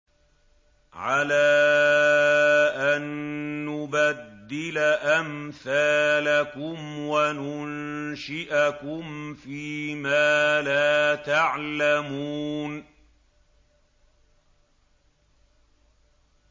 عَلَىٰ أَن نُّبَدِّلَ أَمْثَالَكُمْ وَنُنشِئَكُمْ فِي مَا لَا تَعْلَمُونَ